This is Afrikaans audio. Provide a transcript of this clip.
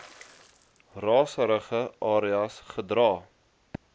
raserige areas gedra